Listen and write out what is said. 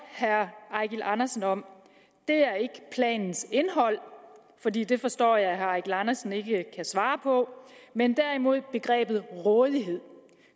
eigil andersen om er ikke planens indhold fordi det forstår jeg at herre eigil andersen ikke kan svare på men derimod begrebet rådighed